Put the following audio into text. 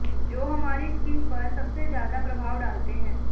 जो हमारी स्किन पर सबसे ज्यादा प्रभाव डालते हैं